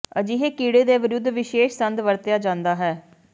ਅਜਿਹੇ ਕੀੜੇ ਦੇ ਵਿਰੁੱਧ ਵਿਸ਼ੇਸ਼ ਸੰਦ ਵਰਤਿਆ ਜਾਦਾ ਹੈ